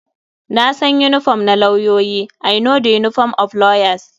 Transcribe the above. Na san yinifom na lauyoyi. I know the uniform of lawyers.